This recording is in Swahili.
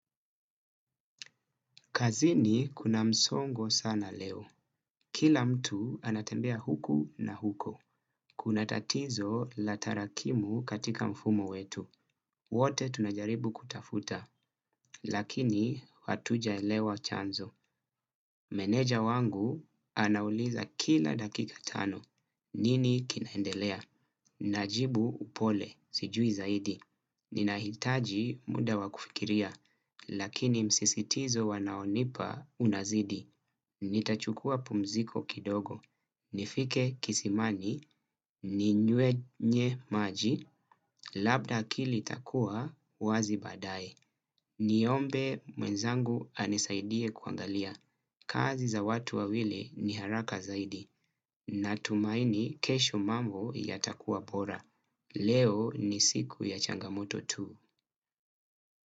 Kazini kuna msongo sana leo. Kila mtu anatembea huku na huko. Kuna tatizo la tarakimu katika mfumo wetu. Wote tunajaribu kutafuta. Lakini hatujaelewa chanzo. Meneja wangu anauliza kila dakika tano. Nini kinaendelea? Najibu upole. Sijui zaidi. Ninahitaji muda wa kufikiria. Lakini msisitizo wanaonipa unazidi. Nitachukua pumziko kidogo. Nifike kisimani, ninywe nye maji, labda akili itakua, wazi baadaye. Niombe mwenzangu anisaidie kuangalia. Kazi za watu wawili ni haraka zaidi. Natumaini kesho mambo yatakua bora. Leo ni siku ya changamoto tu.